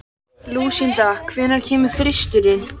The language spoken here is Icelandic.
Lúsinda, hvenær kemur þristurinn?